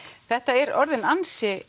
þetta er orðinn ansi